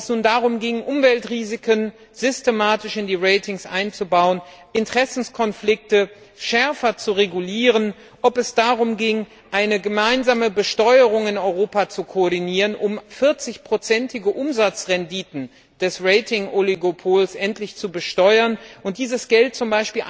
Ob es nun darum ging, Umweltrisiken systematisch in die Ratings einzubauen, Interessenkonflikte schärfer zu regulieren, ob es darum ging, eine gemeinsame Besteuerung in Europa zu koordinieren, um 40 prozentige Umsatzrenditen des Ratingoligopols endlich zu besteuern und dieses Geld z.